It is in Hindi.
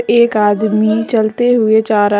एक आदमी चलते हुए जा रहा--